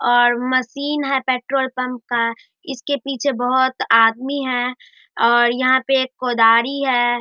और मशीन है petrol pump का इसके पीछे बहुत आदमी हैं और यहाँ पे एक कोदारी है।